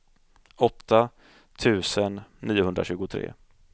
åtta tusen niohundratjugotre